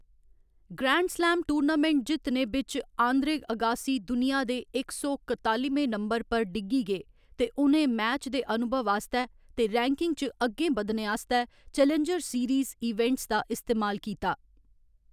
Grand slam tournament जित्तने बिच्च Andre Agassi दुनिया दे इक सौ कतालिमें नंबर पर डिग्गी गे ते उ'नें मैच दे अनुभव आस्तै ते रैंकिंग च अग्गें बधने आस्तै चैलेंजर सीरीज ईवेंट्स दा इस्तेमाल कीता।